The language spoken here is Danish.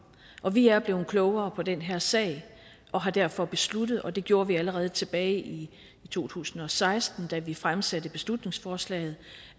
og vi er blevet klogere på den her sag og har derfor besluttet og det gjorde vi allerede tilbage i to tusind og seksten da vi fremsatte beslutningsforslaget